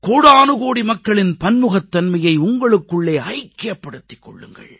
கோடானுகோடி மக்களின் பன்முகத்தன்மையை உங்களுக்குள்ளே ஐக்கியப்படுத்திக் கொள்ளுங்கள்